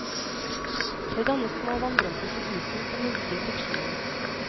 Det dannes små vanndråper på isen som minsker friksjonen.